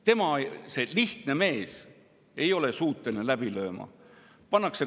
Tema, see lihtne mees, ei ole suuteline läbi lööma.